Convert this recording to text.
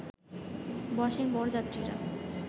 বসেন বরযাত্রীরা